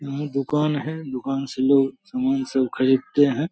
यहाँ दुकान है दुकान से लोग सामान सब खरीदते हैं।